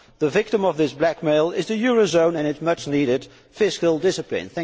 The victim of this blackmail is the eurozone and its much needed fiscal discipline.